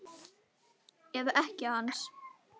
Eða ekkja hans?